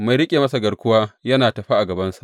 Mai riƙe masa garkuwa yana tafe a gabansa.